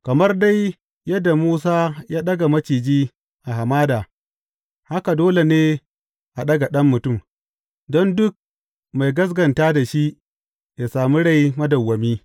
Kamar dai yadda Musa ya ɗaga maciji a hamada, haka dole ne a ɗaga Ɗan Mutum, don duk mai gaskata da shi ya sami rai madawwami.